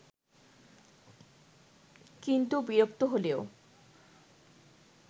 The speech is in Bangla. কিন্তু বিরক্ত হলেও